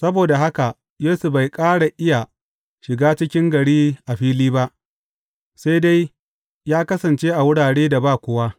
Saboda haka, Yesu bai ƙara iya shiga cikin gari a fili ba, sai dai ya kasance a wuraren da ba kowa.